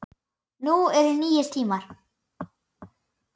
Nú eru nýir tímar.